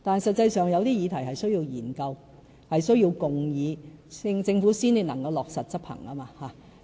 實際上，有些議題的確需要研究、需要共議，政府才能落實執行。